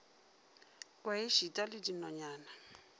kwe e šita le dinonyana